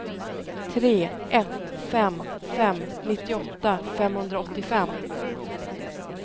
tre ett fem fem nittioåtta femhundraåttiofem